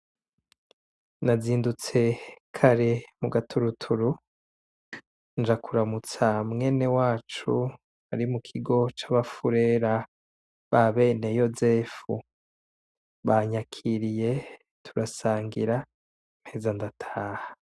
Nazindutse kare mu gaturuturu nja kuramutsa mwenewacu ari mu kigo c'abafurera ba beneyozefu, banyakiriye turasangira mpeza ndataha.